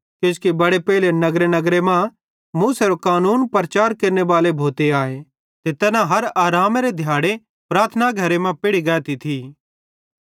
किजोकि बड़े पेइले नगरनगरे मां मूसेरे कानूनेरो प्रचार केरनेबाले भोते आए ते तैना हर आरामेरे दिहाड़े प्रार्थना घरे मां पेढ़ी गाती थी